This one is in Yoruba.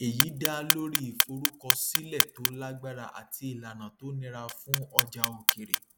èyí dá lórí ìforúkọsílẹ tó lágbára àti ìlànà tó nira fún ọjà òkèèrè